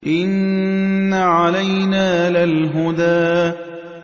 إِنَّ عَلَيْنَا لَلْهُدَىٰ